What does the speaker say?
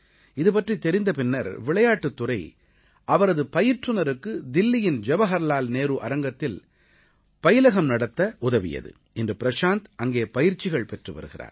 இதுபற்றித் தெரிந்த பின்னர் விளையாட்டுத் துறை அவரது பயிற்றுநருக்கு தில்லியின் ஜவஹர்லால் நேரு அரங்கத்தில் பயிலகம் நடத்த உதவியது இன்று பிரஷாந்த் அங்கே பயிற்சிகள் பெற்று வருகிறார்